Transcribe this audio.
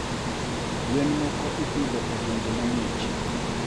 gwen moko ipidho e gwenge ma ngih